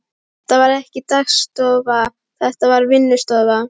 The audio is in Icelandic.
Þetta var ekki dagstofa, þetta var vinnustofa.